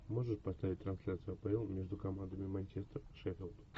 можешь поставить трансляцию апл между командами манчестер шеффилд